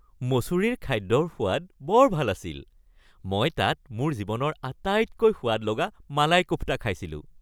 মছুৰীৰ খাদ্যৰ সোৱাদ বৰ ভাল আছিল। মই তাত মোৰ জীৱনৰ আটাইতকৈ সোৱাদ লগা মালাই কোফটা খাইছিলোঁ।